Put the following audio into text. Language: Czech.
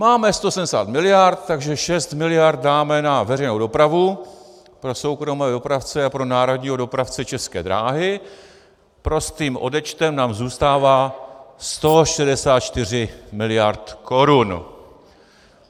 Máme 170 miliard, takže 6 miliard dáme na veřejnou dopravu pro soukromé dopravce a pro národního dopravce České dráhy, prostým odečtem nám zůstává 164 miliard korun.